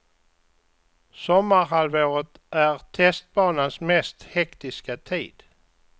Sommarhalvåret är testbanans mest hektiska tid.